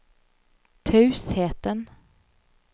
tausheten